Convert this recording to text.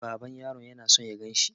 Baban yaron yana so ya ganshi.